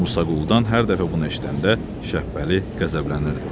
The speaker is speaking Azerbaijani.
Musaquludan hər dəfə bunu eşidəndə Şəpbəli qəzəblənirdi.